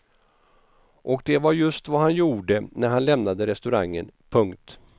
Och det var just vad han gjorde när han lämnade restaurangen. punkt